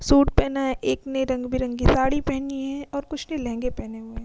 Suit पहना है। एक ने रंग बिरंगी साड़ी पहनी है और कुछ ने लेहंगे पेहेने हुए है।